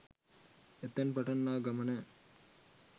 එතැන් පටන් ආ ගමන